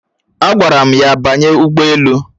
Agwara m ya banye ugboelu